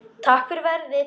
Takk fyrir verið